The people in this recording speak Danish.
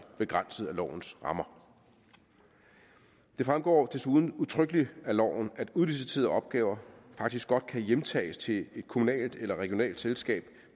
begrænset af lovens rammer det fremgår desuden udtrykkeligt af loven at udliciterede opgaver faktisk godt kan hjemtages til et kommunalt eller regionalt selskab